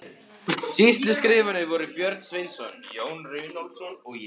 Sýsluskrifararnir voru Björn Sveinsson, Jón Runólfsson og ég.